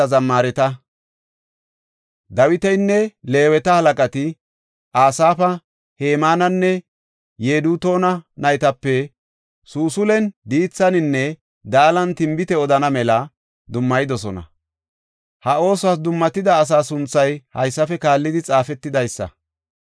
Dawitinne Leeweta halaqati, Asaafa, Hemaananne Yedutuuna naytape suusul7en, diithaninne daalan tinbite odana mela dummayidosona. Ha oosuwas dummatida asaa sunthay haysafe kaallidi xaafetidaysa.